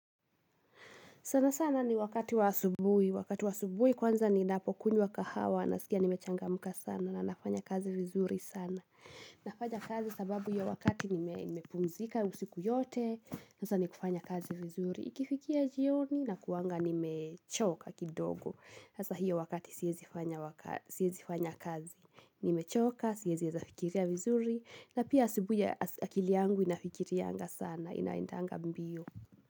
Sana sana ni wakati wa asubui kwanza ninapokunywa kahawa nasikia nimechangamuka sana na nafanya kazi vizuri sana. Nafanya kazi sababu ya wakati nimepumzika usiku yote na sasa ni kufanya kazi vizuri. Ikifikia jioni nakuanga nimechoka kidogo. Sasa hiyo wakati siezi fanya kazi. Nimechoka, siezi heza fikiria vizuri na pia asubui akili yangu inafikiriaanga sana inaendanga mbio.